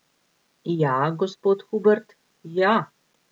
Ja, gospod Hubert, ja.